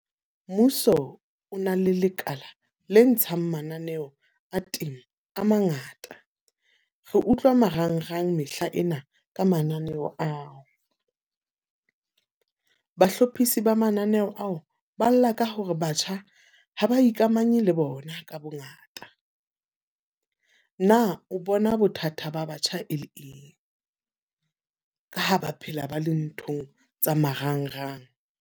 Mmuso o na le lekala le ntshang mananeho a teng a mangata. Re utlwa marangrang mehlaena ka mananeo ao. Bahlophisi ba mananeo ao, ba lla ka hore batjha ha ba ikamanye le bona ka bo ngata. Na o bona bothata ba batjha e le eng ka ho ba phela ba le nthong tsa marangrang?